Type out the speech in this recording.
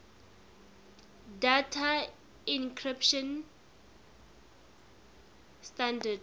data encryption standard